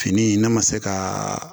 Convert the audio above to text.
Fini ne ma se ka